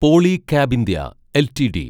Polycab India LTD